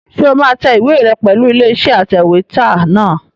Ṣé o máa tẹ ìwé rẹ pẹ̀lú ilé-iṣẹ́ atẹ̀wétà náà?